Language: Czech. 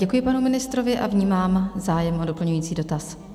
Děkuji panu ministrovi a vnímám zájem o doplňující dotaz.